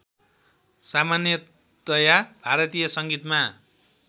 सामान्यतया भारतीय सङ्गीतमा